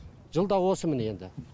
жылда осы міне енді